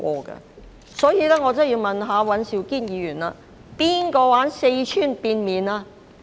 因此，我真的要問尹兆堅議員：誰玩四川變臉呢？